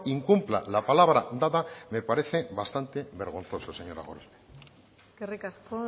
incumpla la palabra dada me parece bastante vergonzoso señora gorospe eskerrik asko